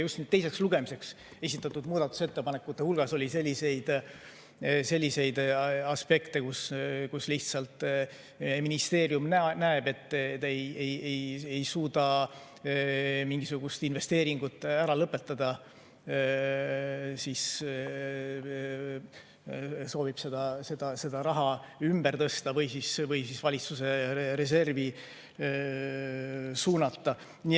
Just teiseks lugemiseks esitatud muudatusettepanekute puhul oli selliseid aspekte, et lihtsalt ministeerium näeb, et ta ei suuda mingisugust investeeringut ära lõpetada ja soovib selle raha ümber tõsta või siis valitsuse reservi suunata.